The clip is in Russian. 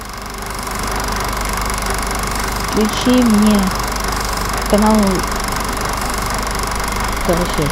включи мне канал карусель